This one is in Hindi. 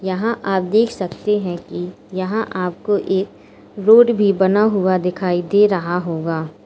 यहां आप देख सकते हैं कि यहां आपको एक रोड भी बना हुआ दिखाई दे रहा होगा।